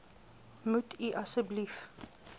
moet u asseblief